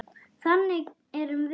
Þannig erum við.